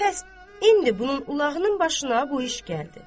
Bəs indi bunun ulağının başına bu iş gəldi.